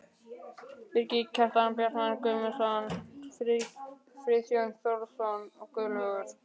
Birgir Kjaran, Bjartmar Guðmundsson, Friðjón Þórðarson, Guðlaugur